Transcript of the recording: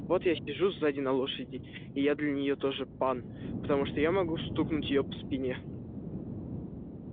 вот я сижу сзади на лошади и я для нее тоже пан потому что я могу стукнуть её по спине